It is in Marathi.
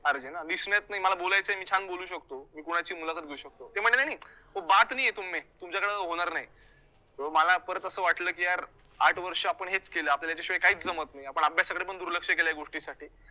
RJ ना नाही मला बोलायचं आहे, मी छान बोलू शकतो, मी कोणाचीही मुलाखत घेऊ शकतो, ते म्हंटले नाही नाही तुमच्याकडून होणार नाही, अं मला परत असं वाटलं की यार, आठ वर्ष आपण हेच केलं आपल्याला याच्याशिवाय काहीच जमतं नाही, आपण अभ्यासाकडे पण दुर्लक्ष केलं या गोष्टीसाठी